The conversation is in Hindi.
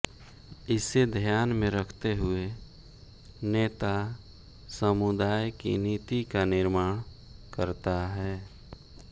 इसे ध्यान में रखते हुए नेता समुदाय की नीति का निर्माण करता है